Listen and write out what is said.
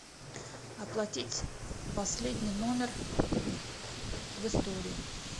оплатить последний номер в истории